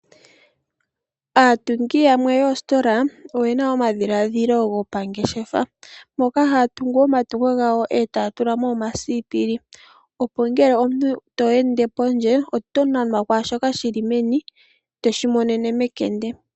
Aatungi yamwe yoostola oye na omadhiladhilo gopangeshefa moka haya tungu omatungo gawo etaya tula mo omasipili, opo ngele to ende pondje oto nanwa kwaashoka shili meni toshi monene mekende.